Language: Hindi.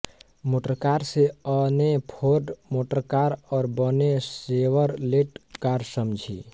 मोटरकार से अ ने फोर्ड मोटरकार और ब ने शेवरलेट कार समझी